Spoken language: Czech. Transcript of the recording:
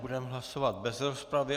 Budeme hlasovat bez rozpravy.